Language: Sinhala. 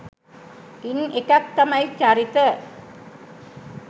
ඉන් එකක් තමයි චරිත